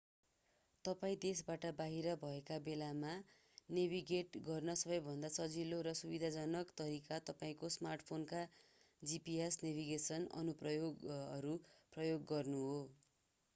तपाईं देशबाट बाहिर भएका बेला नेभिगेट गर्ने सबैभन्दा सजिलो र सुविधाजनक तरिका तपाईंको स्मार्टफोनका gps नेभिगेसन अनुप्रयोगहरू प्रयोग गर्नु हो